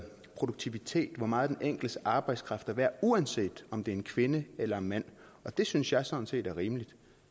produktivitet hvor meget den enkeltes arbejdskraft er værd uanset om det er en kvinde eller en mand og det synes jeg sådan set er rimeligt